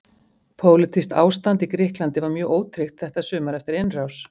Pólitískt ástand í Grikklandi var mjög ótryggt þetta sumar eftir innrás